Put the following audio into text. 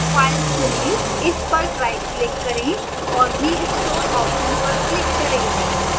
file चुनें इस पर rightclick करें और restore option पर click करें